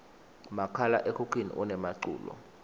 makhala ekhukhwini unemaculo